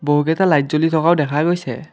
বহুকেইটা লাইট জ্বলি থকাও দেখা গৈছে।